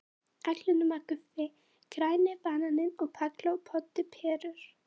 Allir nema Guffi, Græni bananinn og Palla og Poddi perur.